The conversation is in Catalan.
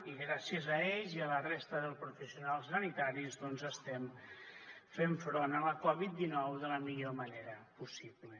i gràcies a ells i a la resta dels professionals sanitaris doncs estem fent front a la covid dinou de la millor manera possible